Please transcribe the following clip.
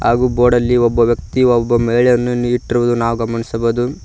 ಹಾಗು ಬೋರ್ಡಲ್ಲಿ ಒಬ್ಬ ವ್ಯಕ್ತಿ ಒಬ್ಬ ಮಹಿಳೆಯನ್ನು ಇಟ್ಟಿರುವುದನ್ನು ನಾವು ಗಮನಿಸಬಹುದು.